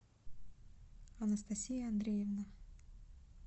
анастасия андреевна